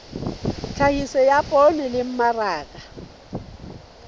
tlhahiso ya poone le mmaraka